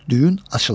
Düyün açılır.